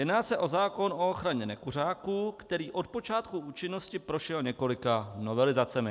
Jedná se o zákon o ochraně nekuřáků, který od počátku účinnosti prošel několika novelizacemi.